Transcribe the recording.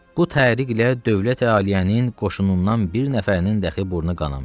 Bu təhriqlə dövləti-aliyyənin qoşunundan bir nəfərinin dahi burnu qanamayıb.